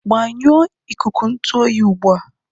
Gbanyụọ ikuku ntụ oyi ugbu a!